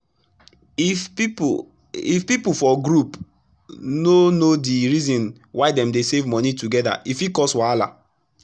if pipu if pipu for group no know d reason why dem dey safe moni togeda e fit cause wahala